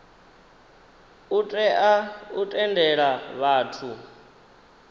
u tea u tendela vhathu